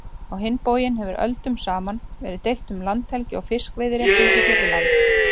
Á hinn bóginn hefur öldum saman verið deilt um landhelgi og fiskveiðiréttindi hér við land.